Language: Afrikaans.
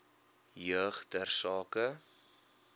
jeug ter sake